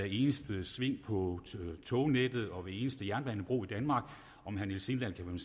eneste sving på tognettet og hver eneste jernbanebro i danmark og om herre niels sindal kan man